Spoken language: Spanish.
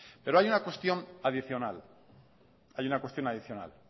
pero hay una cuestión adicional